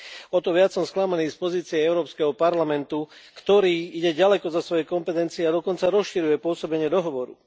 O to viac som sklamaný z pozície Európskeho parlamentu, ktorý ide ďaleko za svoje kompetencie a dokonca rozširuje pôsobenie dohovoru.